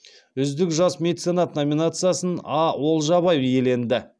үздік жас меценат номинациясын а олжабай иеленді